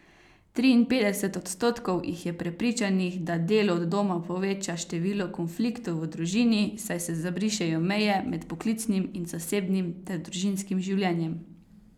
Triinpetdeset odstotkov jih je prepričanih, da delo od doma poveča števila konfliktov v družini, saj se zabrišejo meje med poklicnim in zasebnim ter družinskim življenjem.